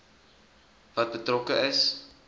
wat betrokke is